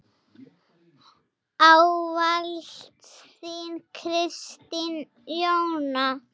Ávallt þín, Kristín Jóna.